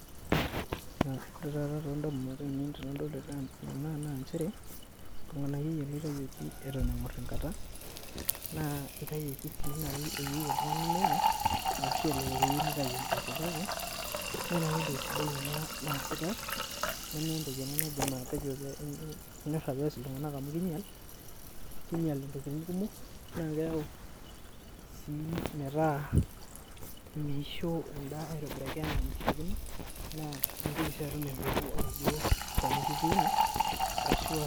Ore taata toondamunot ainei entoki nadolita naa nchere orng'anayioi ele oitayioki eton eng'orr enkata naa eitayioki sii naai eyieu oltung'ani nenya ashu elelek eyieu neitaiyu embeku, kake mee naai entoki sidai ena naasitai , nemeentoki ena naadim atejo pias iltung'anak amu kiinyal, kiinyal intokiting' kumok naa keyau sii metaa meisho endaa aitobiraki enaa enaishiakino naa mintoki atum oladwoo shani lituuno arashu aa